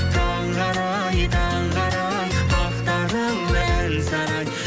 таңғы арай таңғы арай ақтарылды ән сарай